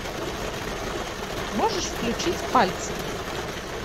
можешь включить пальцы